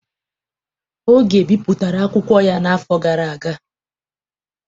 Oge bipụtara akwụkwọ ya n'afọ gara aga.